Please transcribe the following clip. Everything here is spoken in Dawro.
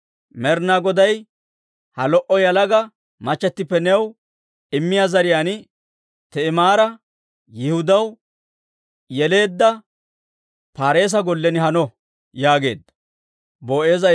Med'inaa Goday ha lo"a yalaga machatippe new immiyaa zariyaan, Ti'imaara Yihudaw yeleedda Paareesa gollen hano» yaageedda.